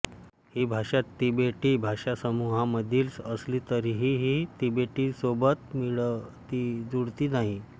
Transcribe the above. ही भाषा तिबेटी भाषासमूहामधील असली तरीही ती तिबेटीसोबत मिळतीजुळती नाही